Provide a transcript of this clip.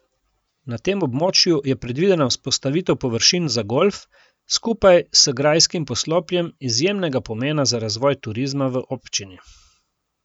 Na tem območju je predvidena vzpostavitev površin za golf skupaj s grajskim poslopjem izjemnega pomena za razvoj turizma v občini.